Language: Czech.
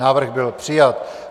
Návrh byl přijat.